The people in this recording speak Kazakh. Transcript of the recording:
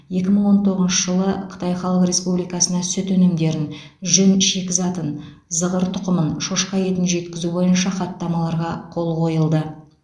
екі мың он тоғызыншы жылы қытай халық республикасына сүт өнімдерін жүн шикізатын зығыр тұқымын шошқа етін жеткізу бойынша хаттамаларға қол қойылды